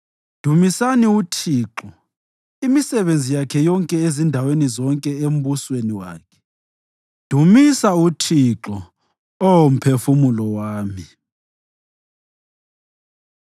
Dumisani uThixo, imisebenzi yakhe yonke ezindaweni zonke embusweni wakhe. Dumisa uThixo, Oh mphefumulo wami.